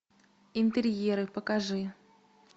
интерьеры покажи